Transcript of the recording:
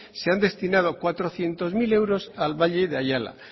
se han destinado cuatrocientos mil euros al valle de ayala